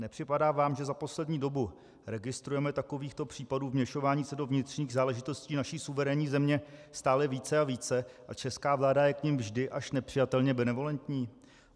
Nepřipadá vám, že za poslední dobu registrujeme takovýchto případů vměšování se do vnitřních záležitostí naší suverénní země stále více a více a česká vláda je k nim vždy až nepřijatelně benevolentní?